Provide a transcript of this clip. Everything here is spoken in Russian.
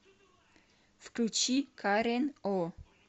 включи карен о